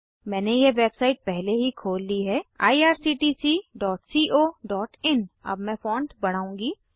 मैंने यह वेबसाइट पहले ही खोल ली है irctccoइन अब मैं फॉण्ट बढ़ाऊँगी